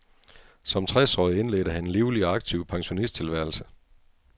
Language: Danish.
Som tres årig indledte han en livlig og aktiv pensionisttilværelse.